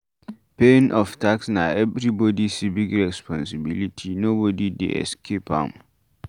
Paying of tax na everybody civic responsibility nobody dey escape am